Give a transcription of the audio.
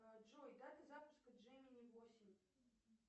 джой дата запуска джемени восемь